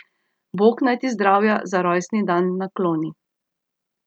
Bog naj ti zdravja za rojstni dan nakloni.